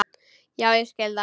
Já, ég skil það.